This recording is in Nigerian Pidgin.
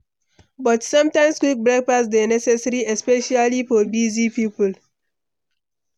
But sometimes, quick breakfast dey necessary especially for busy people.